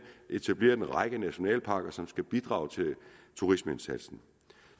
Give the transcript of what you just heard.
etableret en række nationalparker som skal bidrage til turismeindsatsen